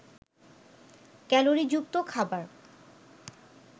ক্যালোরিযুক্ত খাবার